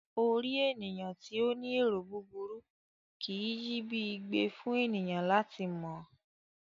Orí ènìyàn tí o ní ero búburú kìí yi bi igbẹ fún ènìyàn lati mọ ọ.